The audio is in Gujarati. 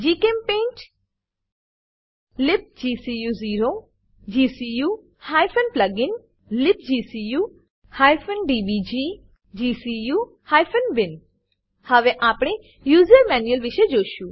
જીચેમ્પેઇન્ટ લિબ્ગકુ0 gcu plugin libgcu DBG gcu bin હવે આપણે યુઝર મેન્યુઅલ વિષે જોશું